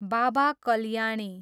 Baba Kalyani